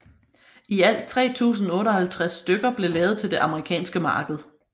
I alt 3058 stykker blev lavet til det amerikanske marked